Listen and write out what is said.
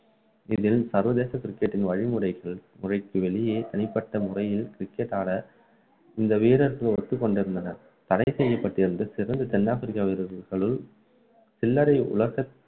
இதில் சர்வதேச cricket டின் வழிமுறைகள் துறைக்கு வெளியே தனிப்பட்ட முறையில் cricket ஆட இந்த வீரர்கள் ஒத்துக்கொண்டிருந்தனர் தடை செய்யப்பட்டிருந்த சிறந்த தென் ஆப்பிரிக்க வீரர்களுள் சிலரை உலக